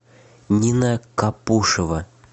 нина капушева